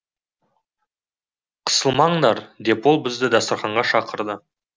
қысылмаңдар деп ол бізді дастарханға шақырды